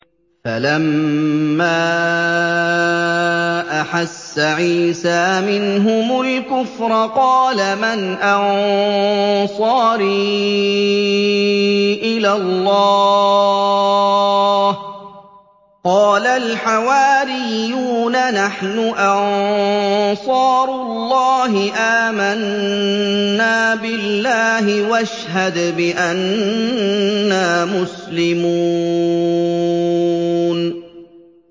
۞ فَلَمَّا أَحَسَّ عِيسَىٰ مِنْهُمُ الْكُفْرَ قَالَ مَنْ أَنصَارِي إِلَى اللَّهِ ۖ قَالَ الْحَوَارِيُّونَ نَحْنُ أَنصَارُ اللَّهِ آمَنَّا بِاللَّهِ وَاشْهَدْ بِأَنَّا مُسْلِمُونَ